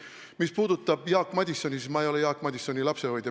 Mis puudutab Jaak Madisoni, siis ma ei ole Jaak Madisoni lapsehoidja.